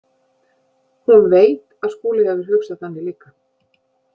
Hún veit að Skúli hefur hugsað þannig líka.